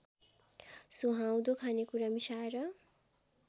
सुहाउँदो खानेकुरा मिसाएर